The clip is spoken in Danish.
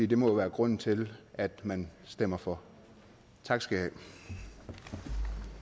det må jo være grunden til at man stemmer for tak skal i